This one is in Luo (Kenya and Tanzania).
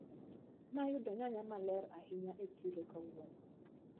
Nayudo nyanya maler ahinya e chiro kawuono.